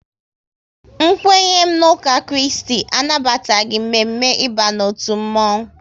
N kwenye m n'uka Kristi anabataghị mme mme ịba n'otu mmonwu